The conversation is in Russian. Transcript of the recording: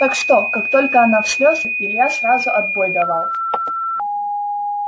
так что как только она в слезы илья сразу отбой давал